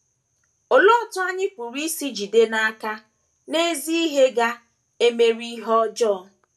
Olee otú anyị pụrụ isi jide n’aka na ezi ihe ga - emeri ihe ọjọọ?